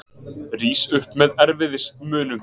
Rís upp með erfiðismunum.